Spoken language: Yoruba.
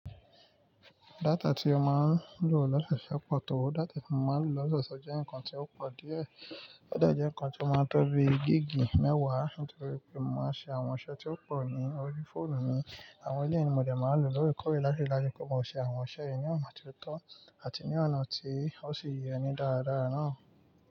Data tí ó máa ń lò l'ọ́sọ̀ọ̀ṣe pọ̀ tó, data tí mo máa ń lò l'ọ́sọ̀ọ̀ṣe jẹ́ nǹkan tí ó pọ̀ díẹ̀. O de jẹ́ nǹkan tí ó máa ń tó bi gig mẹ́wàá nítorí pé mò maa ń ṣe àwọn iṣẹ́ tí ó pọ̀ ní orí fóònù mi. Àwọn élèyii ni mo dè máa ń lò lóorekọ̀ore láti ri daju pé mò ṣe àwọn iṣẹ́ yìí ní ọ̀nà tó tọ́ àti ní ọ̀nà tí ó sì yẹ ní dáradára náà.